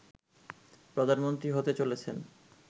প্রধানমন্ত্রী হতে চলেছেন